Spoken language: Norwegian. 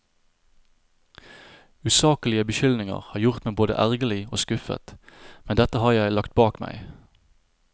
Usaklige beskyldninger har gjort meg både ergerlig og skuffet, men dette har jeg lagt bak meg.